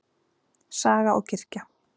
Saga og kirkja.